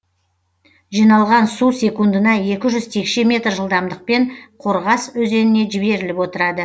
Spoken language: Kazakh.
жиналған су секундына екі жүз текше метр жылдамдықпен қорғас өзеніне жіберіліп отырады